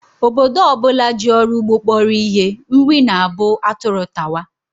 Obodo ọ bụla ji ọrụ ugbo kpọrọ ihe, nri na-abụ atụrụ tawa